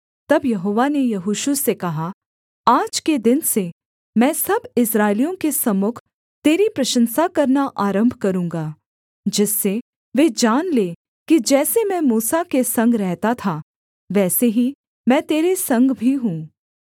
तब यहोवा ने यहोशू से कहा आज के दिन से मैं सब इस्राएलियों के सम्मुख तेरी प्रशंसा करना आरम्भ करूँगा जिससे वे जान लें कि जैसे मैं मूसा के संग रहता था वैसे ही मैं तेरे संग भी हूँ